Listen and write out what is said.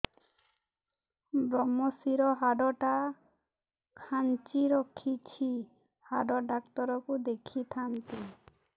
ଵ୍ରମଶିର ହାଡ଼ ଟା ଖାନ୍ଚି ରଖିଛି ହାଡ଼ ଡାକ୍ତର କୁ ଦେଖିଥାନ୍ତି